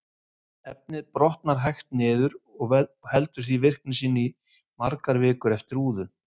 Efnið brotnar hægt niður og heldur því virkni sinni í margar vikur eftir úðun.